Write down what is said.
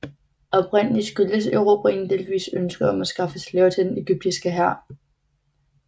Oprindelig skyldtes erobringen delvist ønsket om at skaffe slaver til den egyptiske hær